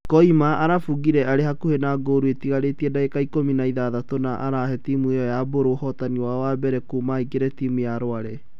Koima arabungire arĩ hakuhĩ na ngũru ĩtigarĩte ndagĩka ikũmi na ithathatũ na arahe timu ĩyo ya Mburu ũhootani wao wa mbere kuuma aingire timu ya Rware.